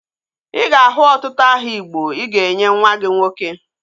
Ị ga-ahụ ọtụtụ aha igbo ị ga-enye nwa gị nwoke